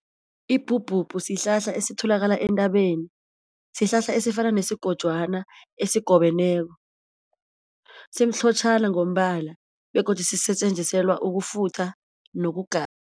Ibhubhubhu sihlahla esitholakala entabeni sihlahla esifana nesigojwana esigobeneko, simhlotjhana ngombala begodu sisetjenziselwa ukufutha